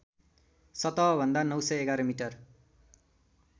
सतहभन्दा ९११ मिटर